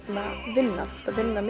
vinna þú ert að vinna